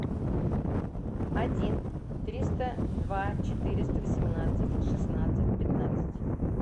один триста два четыреста восемнадцать шестнадцать пятнадцать